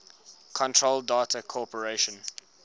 control data corporation